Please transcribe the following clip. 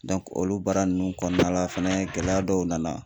olu baara ninnu kɔnɔna la fɛnɛ gɛlɛya dɔw nana